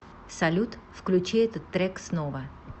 салют включи этот трек снова